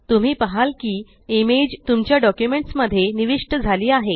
तुम्ही पहाल की इमेज तुमच्या डॉक्युमेंट्स मध्ये निविष्ट आहे झाली